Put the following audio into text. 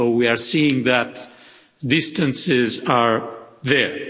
So we are seeing that distances are there.